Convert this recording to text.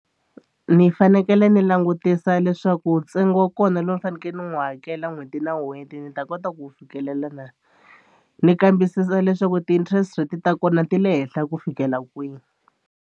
Ni fanekele ni langutisa leswaku ntsengo wa kona lowu ni fanekele ni n'wi hakela n'hweti na n'hweti ni ta kota ku fikelela na. Ni kambisisa leswaku ti-interest rate ta kona ti le henhla ku fikela kwihi.